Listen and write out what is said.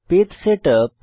page setup